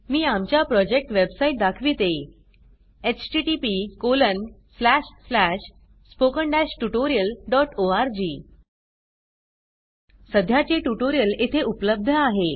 मी आमच्या project website दाखविते 2 सध्याचे ट्युटोरियल येथे उपलब्ध आहे